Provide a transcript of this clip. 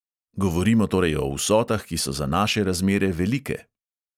Govorimo torej o vsotah, ki so za naše razmere velike.